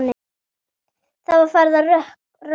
Það var farið að rökkva.